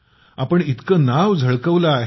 आपण इतकं नाव झळकवलं आहे